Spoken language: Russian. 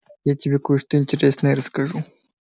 я тебе кое-что интересное расскажу